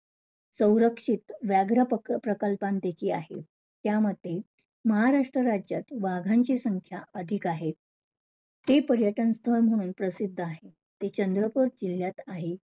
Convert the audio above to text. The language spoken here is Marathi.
सौरक्षित व्याग्रा प्रक~ प्रकल्पापैकी आहे. त्यामध्ये महाराष्ट्र राज्यात वाघांची संख्या अधिक आहे. ते पर्यटन स्थळ म्हणून प्रसिद्ध आहे. ते चंद्रपूर जिल्ह्यात आहे.